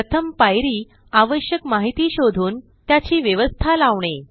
प्रथम पायरी आवश्यक माहिती शोधून त्याची व्यवस्था लावणे